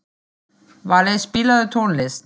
Valey, spilaðu tónlist.